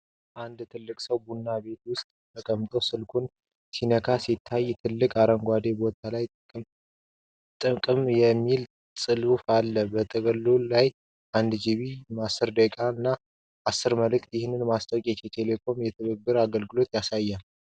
አንድ ሰው ቡና ቤት ውስጥ ተቀምጦ ስልኩን ሲመለከት ይታያል። ትልቅ አረንጓዴ ቦታ ላይ "ጥቅም" የሚል ጽሑፍ አለ። ጥቅሉ 1 ጊባ፣ 10 ደቂቃ ጥሪ እና 10 መልእክት ። ይህ ማስታወቂያ የኢትዮ ቴሌኮምን የትብብር አገልግሎት ያሳያልን?